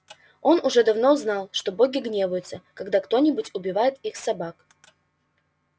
он уже давно знал что боги гневаются когда кто-нибудь убивает их собак